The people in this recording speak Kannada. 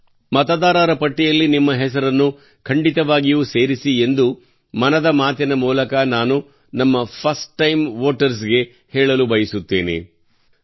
ಮತದಾರ ಪಟ್ಟಿಯಲ್ಲಿ ನಿಮ್ಮ ಹೆಸರನ್ನು ಖಂಡಿತವಾಗಿಯೂ ಸೇರಿಸಿ ಎಂದು ನಾನು ಮನದ ಮಾತಿನ ಮೂಲಕ ನಮ್ಮ ಫಸ್ಟ್ ಟೈಮ್ ವೋಟರ್ಸ್ ಗೆ ಮತದಾರರ ಪಟ್ಟಿಯಲ್ಲಿ ತಮ್ಮ ಹೆಸರನ್ನು ನೋಂದಾಯಿಸಿಕೊಳ್ಳಬೇಕೆಂದು ಹೇಳಲು ಬಯಸುತ್ತೇನೆ